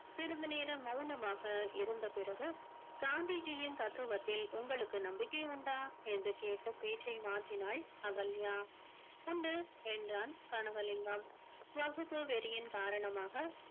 சிறிது நேரம் மௌனமாக இருந்த பிறகு காந்திஜியின் தத்துவத்தில் உங்களுக்கு நம்பிக்கை உண்டா என்று கேட்டு பேச்சை மாற்றினாள் அகல்யா உண்டு என்றான் கனகலிங்கம் வகுப்பு வெறியின் காரணமாக